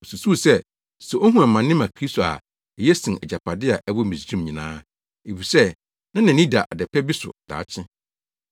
Osusuw sɛ, sɛ ohu amane ma Kristo a, eye sen agyapade a ɛwɔ Misraim nyinaa, efisɛ na nʼani da ade pa bi so daakye.